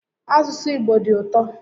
Asụsụ Igbo dị ụtọ